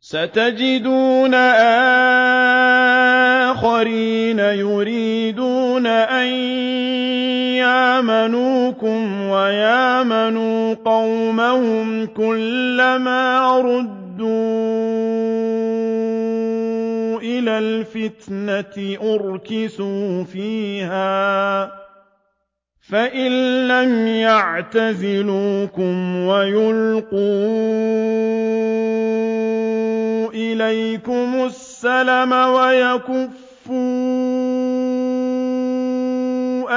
سَتَجِدُونَ آخَرِينَ يُرِيدُونَ أَن يَأْمَنُوكُمْ وَيَأْمَنُوا قَوْمَهُمْ كُلَّ مَا رُدُّوا إِلَى الْفِتْنَةِ أُرْكِسُوا فِيهَا ۚ فَإِن لَّمْ يَعْتَزِلُوكُمْ وَيُلْقُوا إِلَيْكُمُ السَّلَمَ وَيَكُفُّوا